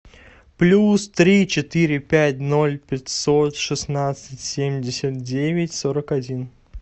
плюс три четыре пять ноль пятьсот шестнадцать семьдесят девять сорок один